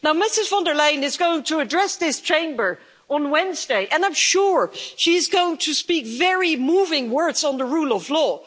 Ms von der Leyen is going to address this Chamber on Wednesday, and I'm sure she's going to speak very moving words on the rule of law.